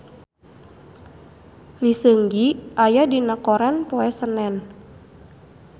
Lee Seung Gi aya dina koran poe Senen